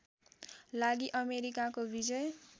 लागि अमेरिकाको विजय